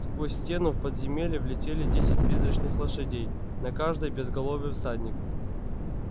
сквозь стену в подземелье влетели десять призрачных лошадей на каждой безголовый всадник